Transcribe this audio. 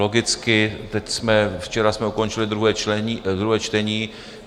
Logicky teď jsme - včera jsme ukončili druhé čtení.